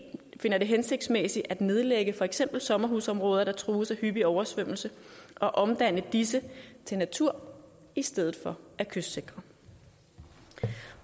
finder det hensigtsmæssigt at nedlægge for eksempel sommerhusområder der trues af hyppige oversvømmelser og omdanne disse til natur i stedet for at kystsikre